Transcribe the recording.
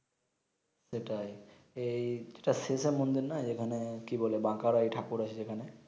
সেটাই এই যেটা শেষ এর মন্দির নয় এখানে কি বলে বাকারায় ঠাকুর আছে যেখানে